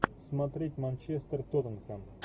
смотреть манчестер тоттенхэм